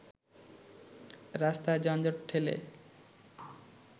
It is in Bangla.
রাস্তার যানজট ঠেলে